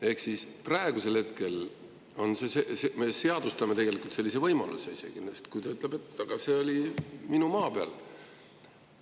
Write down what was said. Ehk siis praegusel hetkel me isegi seadustame tegelikult sellise võimaluse, sest kui ta ütleb, et see oli tema maa peal ...